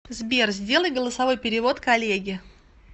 сбер сделай голосовой перевод коллеге